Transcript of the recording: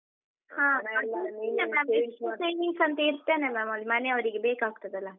ಇಷ್ಟು savings ಅಂತ ಇಡ್ತೇನೆ ma’am , ಅದು ಮನೆ ಅವ್ರಿಗೆ ಬೇಕಾಗ್ತದಲ್ಲ.